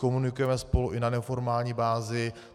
Komunikujeme spolu i na neformální bázi.